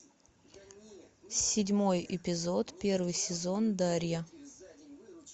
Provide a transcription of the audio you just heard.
седьмой эпизод первый сезон дарья